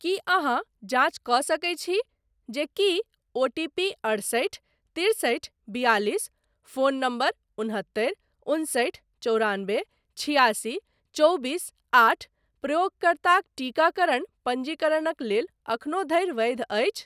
की अहाँ जाँच कऽ सकैत छी जे की ओटीपी अढ़सठि तिरसठि बियालिस फोन नंबर उन्हत्तरि उन्सठि चौरानबे छिआसी चौबीस आठ प्रयोगकर्ताक टीकाकरण पञ्जीकरणक लेल एखनो धरि वैध अछि ?